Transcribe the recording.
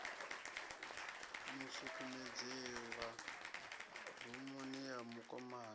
mu sukumedzela rumuni ya mukomana